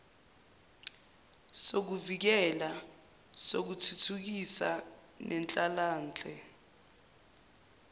sokuvikela sokuthuthukisa nenhlalanhle